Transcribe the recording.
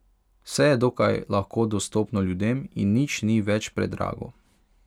Vse je dokaj lahko dostopno ljudem in nič ni več predrago.